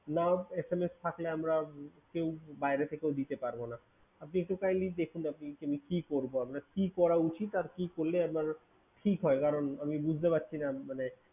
not SMS থাকলে আমরা বাইরে থেকেও দিতে পারবো না। আপনি একটু kindley দেখুন আপনি এখানে কি করবো আমরা? কি করা উচিত আর কি করলে আপনার ঠিক হয়? কারণ আমি বুঝতে পারছিনা মানে